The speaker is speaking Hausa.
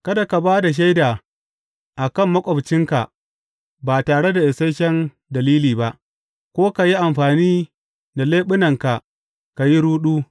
Kada ka ba da shaida a kan maƙwabcinka ba tare da isashen dalili ba, ko ka yi amfani da leɓunanka ka yi ruɗu.